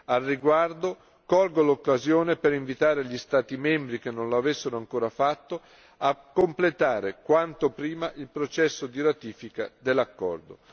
Al riguardo, colgo l'occasione per invitare gli Stati membri che non lo avessero ancora fatto a completare quanto prima il processo di ratifica dell'accordo.